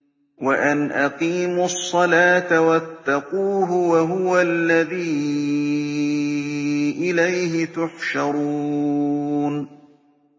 وَأَنْ أَقِيمُوا الصَّلَاةَ وَاتَّقُوهُ ۚ وَهُوَ الَّذِي إِلَيْهِ تُحْشَرُونَ